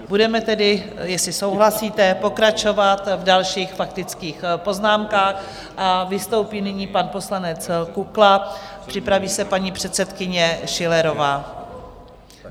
Budeme tedy, jestli souhlasíte, pokračovat v dalších faktických poznámkách a vystoupí nyní pan poslanec Kukla, připraví se paní předsedkyně Schillerová.